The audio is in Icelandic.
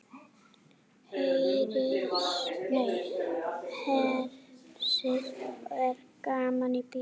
Hersir er gaman í bíó?